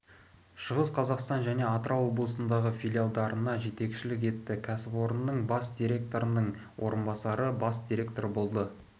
шығыс қазақстан және атырау облыстарындағы филиалдарына жетекшілік етті кәсіпорынның бас директорының орынбасары бас директоры болды